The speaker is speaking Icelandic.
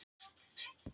Bílvelta í rallkeppni